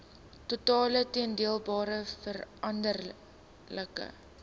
totale toedeelbare veranderlike